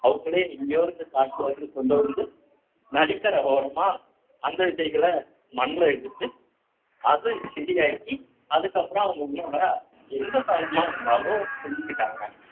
அவங்களே எங்கேயோ இருந்து காட்டுல இருந்து கொண்டு வந்து நதிக்கரை ஓரமா அந்த விதைகள மண்ணுல எடுத்து அது செடி ஆக்கி அதுக்கப்புறம் அவங்க உண்ணும் உணவ எந்த காலமா இருந்தாலும் செஞ்சுக்கிட்டாங்க